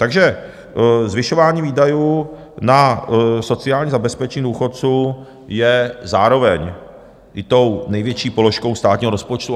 Takže "zvyšování výdajů na sociální zabezpečení důchodců je zároveň i tou největší položkou státního rozpočtu".